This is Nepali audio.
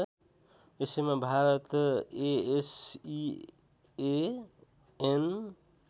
यसैमा भारत एएसइएएन